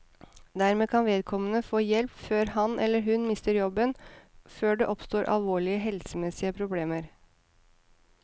Dermed kan vedkommende få hjelp før han, eller hun, mister jobben og før det oppstår alvorlige helsemessige problemer.